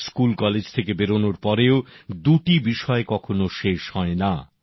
school college থেকে বেরোনোর পরেও দুটি বিষয় কখনো শেষ হয় না